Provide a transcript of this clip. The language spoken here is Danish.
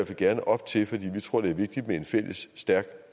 fald gerne op til for vi tror det er vigtigt med en fælles stærk